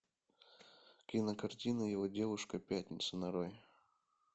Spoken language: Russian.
кинокартина его девушка пятница нарой